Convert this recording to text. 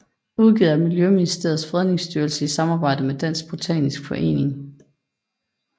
Udgivet af Miljøministeriets Fredningsstyrelse i samarbejde med Dansk Botanisk Forening